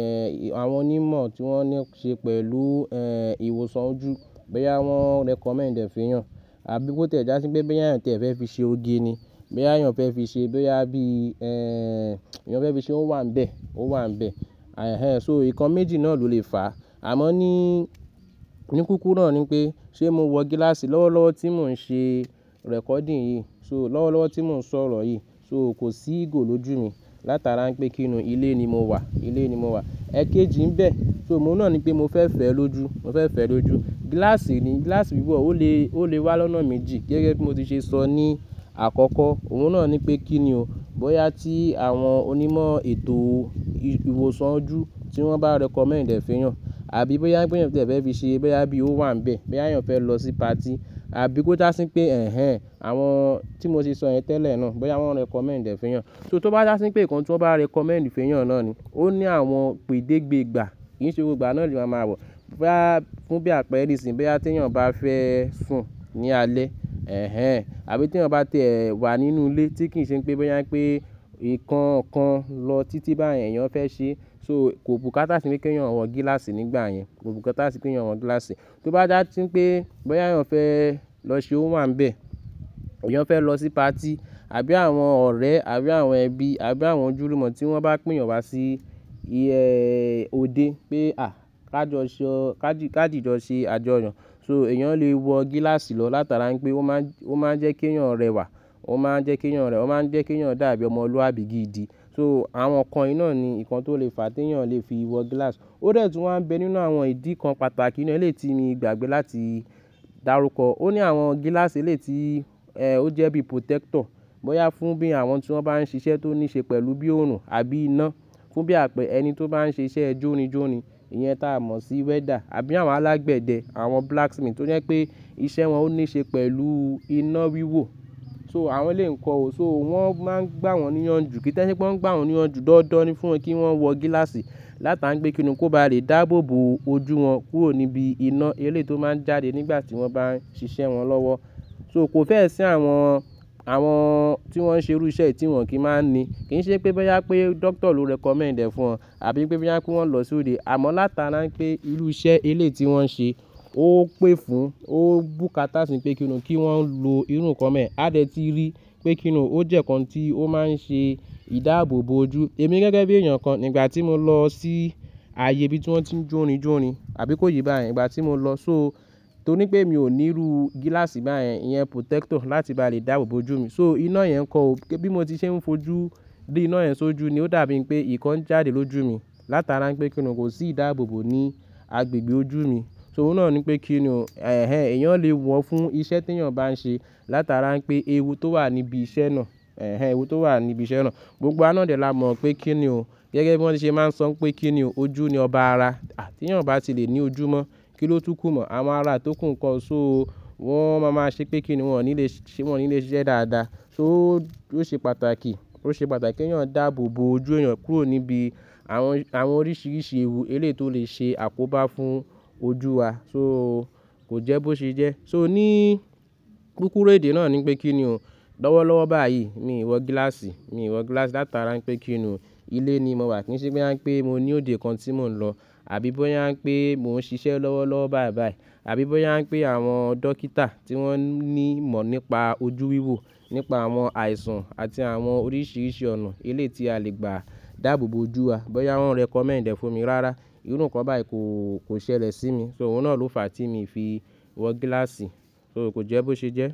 ẹ, àwọn onímọ̀ tí wọ́n ní ṣe pẹ̀lú, ẹ, ìwòsàn ojú, bóyá wọ́n recommend ẹ̀ fún ẹ. Àbí bó tí o jà sí pé bóyá ẹ̀yàn tí ẹ fẹ́ fi ṣe oge ni. Bóyá ẹ̀yàn fẹ́ fi ṣe, bóyá bí, ẹ, èyàn fẹ́ fi ṣe ó wà ń bẹ, ó wà ń bẹ. Ẹ̀hẹn, so ìkan méjì náà ló lè fàá. Àmọ́ ní, ní kúkúrú náà ni pé ṣe mo wọ gíláàsì lọ́wọ́lọ́wọ́ tí mò ń ṣe recording yìí? So lọ́wọ́lọ́wọ́ tí mò ń sọ̀rọ̀ yìí. So kò sí ìgò lójú mi látara ń pé kí ni ilé ni mo wà, ilé ni mo wà. Ẹ̀kéjì ń bẹ. So òun náà ni pé mo fẹ́ fẹ́ ẹ lójú, mo fẹ́ fẹ́ ẹ lójú. Gíláàsì ni, gíláàsì wíwò ó lè, ó lè wá lọ́nà méjì gẹ́gẹ́ bí mo ti ṣe sọ ní àkọ́kọ́. Òun náà ni pé kí ni o, bóyá tí àwọn onímọ̀ ètò ìwòsàn ojú tí wọ́n bá recommend ẹ̀ fún ẹyàn àbí bóyá pé ẹ̀yàn tí ẹ fẹ́ fi ṣe, bóyá bí ó wà ń bẹ. Bóyá ẹ̀yàn fẹ́ lọ sí patí àbí bó dà sí pé ẹ̀hẹn, àwọn tí mo ti sọ yen tẹ́lẹ̀ náà, bóyá wọ́n recommend ẹ̀ fún ẹ. So tó bá dà sí pé ìkan tí wọ́n bá recommend fún ẹ náà ni ó ní àwọn ìpèdégbe gbà. Kì í ṣe gbogbo ìgbà náà ni wa máa mọ̀. Bóyá, fún bí àpẹẹrẹ ìsìn bóyá tí ẹ̀yàn bá fẹ́ sùn ní alẹ́, ẹ̀hẹn, àbí tí ẹ̀yàn bá tẹ̀ ẹ́ wà nínú ilé tí kì í ṣe pé bóyá pé ìkan kan lọ títí báyen ẹ̀yàn fẹ́ ṣe. So kò bùkátá sì ípé kí ẹ̀yàn wọ gíláàsì nígbà yẹn. Kò bùkátá sì kí ẹ̀yàn wọ gíláàsì. Tó bá dà sí pé bóyá ẹ̀yàn fẹ́ lọ ṣe ó wà ń bẹ. Ẹ̀yàn fẹ́ lọ sí patí àbí àwọn ọ̀rẹ́ àbí àwọn ẹbí àbí àwọn ojúlúmọ̀ tí wọ́n bá pè yàn wá sí i, ẹ, òde pé à, ká jọ sọ, ká dìjọ ṣe àjọyọ̀. So ẹ̀yàn lè wọ gíláàsì lọ látara ń pé ó máa ń, ó máa ń jẹ́ kí ẹ̀yàn rẹwà, ó máa ń jẹ́ kí ẹ̀yàn rẹwà, ó máa ń jẹ́ kí ẹ̀yàn dàbí ọmọlúwàbí gidi. So àwọn nǹkan yìí náà ni ìkan tó lè fà tí ẹ̀yàn lè fi wọ gíláàsì. Ó dẹ̀ tún wán ń bé nínú àwọn ìdí kan pàtàkì eléyìí ti mi gbàgbé láti darúkọ. Ó ní àwọn gíláàsì eléyìí ti, ẹ, ó jẹ́ bí protector. Bóyá fún bí àwọn tí wọ́n bá ń ṣiṣẹ́ tó ní ṣe pẹ̀lú bí òòrùn àbí iná. Fún bí àpẹẹrẹ ẹni tó bá ń ṣe iṣẹ́ jórinjórin. Ìyẹn táa mọ̀ sí welder àbí àwọn alágbẹ̀dẹ, àwọn blacksmith toje pé iṣẹ́ wọn ó ní ṣe pẹ̀lú iná wíwò. So àwọn elèyìí ń kọ ò. So wọ́n máa ń gbá wọn níyanjù. Kí tí ẹ se pé wọ́n ń gbá wọn níyanjù dandan ni fún kí wọ́n wọ gíláàsì látara ń pé kí ni? Kó ba lè dáàbò bo ojú wọn kúrò níbi iná eléyìí tó máa ń jáde nígbà tí wọ́n bá ń ṣiṣẹ́ wọn lọ́wọ́. So kò fẹ́ sínú àwọn, àwọn tí wọ́n ṣe irú iṣẹ́ è tí wọ́n kì í máa ń ní. Kì í ṣe pé bóyá pé doctor ló recommend ẹ̀ fún wọn àbí pé bóyá pé kí wọ́n lọ sóde. Àmọ́ látara ń pé irú iṣẹ́ eléyìí tí wọ́n ṣe ó pé fún, ó bùkátá sì pé kí ni kí wọ́n lo irú nǹkan bẹ́ẹ̀yen, a de tí rí pé kí ni ó jẹ́ nǹkan tí ó máa ń ṣe ìdáàbò bo ojú. Èmi gẹ́gẹ́ bí èèyàn kan nígbà tí mo lọ sí ààyè bí tí wọ́n ti ń jórinjórin àbí kó ye báyen ígbà tí mo lọ. So torí pé mi ò ní irú gíláàsì báyìí, ìyẹn protector láti bá lè dáàbò bo ojú mi. So iná yẹn ń kọ ò. Bí mo ti ṣe ń fojú ríiná yẹn sójú ni ó dàbí pé nǹkan ń jáde lójú mi látara ń pé kí nii kò sí ìdáàbò bo ní agbègbè ojú mi. So òun náà ni pé kí ni o, ẹ̀hẹn, ẹ̀yàn lè wọ fún iṣẹ́ tí ẹ̀yàn bá ń ṣe látara ń pé ewu tó wà níbi iṣẹ́ náà, ẹ̀hẹn, ewu tó wà níbi iṣẹ́ náà. Gbogbo wa náà dè lá mọ̀ pé kí ni o. Gẹ́gẹ́ bí wọ́n ti ṣe máa ń sọ pé kí ni o ojú ni ọba ara. Tí ẹ̀yàn o bá ti lè ní ojú mọ́, kí ló túkù mọ́ àwọn ara tó kù nǹkóo. So wọ́n máa máa ṣe pé kí ni wọ́n ò ní lè ṣe, wọ́n ò ní lè ṣe iṣẹ́ dáadáa. So ó ṣe pàtàkì, ó ṣe pàtàkì kí ẹ̀yàn dààbò bo ojú ẹ̀yàn kúrò níbi àwọn, àwọn oríṣìíríṣìí ewu eléyìí tó lè ṣe àkóbá fún ojú wa. So kò jẹ́ bó ṣe jẹ́. So ní kúkúrú èdè náà ni pé kí ni o. Lọ́wọ́lọ́wọ́ báyìí mi ò wọ gíláàsì, mi ò wọ gíláàsì látara ń pé kí ni o ilé ni mo wà kì í ṣe pé kí ni pé mo ní òde kan tí mò ń lọ àbí bóyá ń pé mò ń ṣiṣẹ́ lọ́wọ́lọ́wọ́ báyìí báyìí àbí bóyá ń pé àwọn dókítà tí wọ́n ní ìmọ̀ nípa ojú wíwò, nípa àwọn àìsàn àti àwọn oríṣìíríṣìí ọ̀nà eléyìí tí a lè gbà dáàbò bo ojú wa. Bóyá wọ́n recommend ẹ̀ fún mi rárá, irú nǹkan báyìí kò, kò ṣẹlẹ̀ sí mi. So òun náà ló fàá tí mi fi wọ gíláàsì. So kò jẹ́ bó ṣe jẹ́.